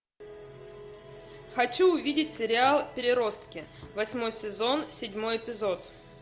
хочу увидеть сериал переростки восьмой сезон седьмой эпизод